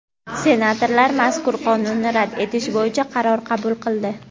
Senatorlar mazkur Qonunni rad etish bo‘yicha qaror qabul qildi.